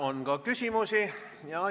On ka küsimusi.